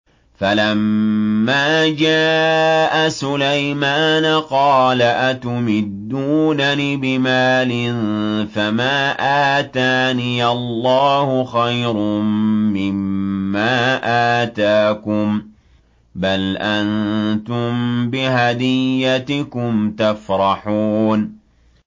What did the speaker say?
فَلَمَّا جَاءَ سُلَيْمَانَ قَالَ أَتُمِدُّونَنِ بِمَالٍ فَمَا آتَانِيَ اللَّهُ خَيْرٌ مِّمَّا آتَاكُم بَلْ أَنتُم بِهَدِيَّتِكُمْ تَفْرَحُونَ